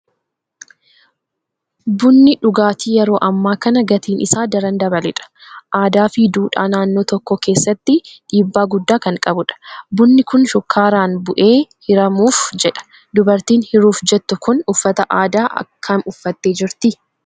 Bunni dhugaatii yeroo ammaa kana gatiin isaa daran dabaledha. Aadaa fi duudhaa naannoo tokkoo keessatti dhiibba guddaa kan qabudha. Bunni kun shukkaaraan bu'ee hiramuuf jedha. Dubartiin hiruuf jettu kun uffata aadaa kam uffattee jirti?